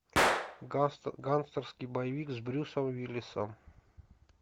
гангстерский боевик с брюсом уиллисом